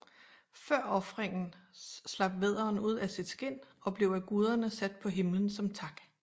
Før ofringen slap vædderen ud af sit skind og blev af guderne sat på himmelen som tak